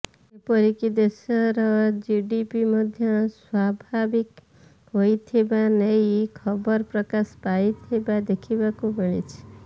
ଏପରିକି ଦେଶର ଜିଡ଼ିପି ମଧ୍ୟ ସ୍ୱାଭାବିକ ହୋଇଥିବା ନେଇ ଖବର ପ୍ରକାଶ ପାଇଥିବା ଦେଖିବାକୁ ମିଳିଛି